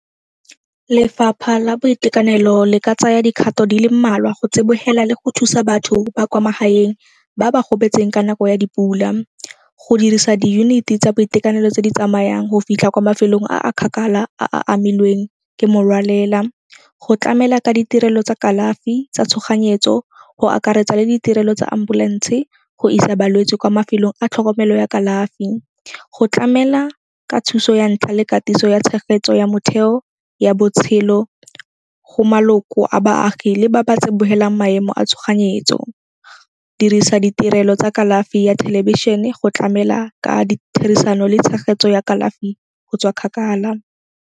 Lefapha la boitekanelo le ka tsaya dikgato di le mmalwa go tsibogela le go thusa batho ba kwa magaeng ba ba gobetseng ka nako ya dipula. Go dirisa di-unit-i tsa boitekanelo tse di tsamayang go fitlha kwa mafelong a a kgakala a a amilweng ke morwalela. Go tlamela ka ditirelo tsa kalafi tsa tshoganyetso go akaretsa le ditirelo tsa ambulance go isa balwetse kwa mafelong a tlhokomelo ya kalafi. Go tlamela ka thuso ya ntlha le katiso ya tshegetso ya motheo ya botshelo go maloko a baagi le ba ba tsibogelang maemo a tshoganyetso. Dirisa ditirelo tsa kalafi ya thelebišene go tlamela ka ditherisano le tshegetso ya kalafi go tswa kgakala.